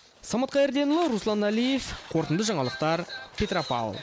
самат қайырденұлы руслан әлиев қорытынды жаңалықтар петропавл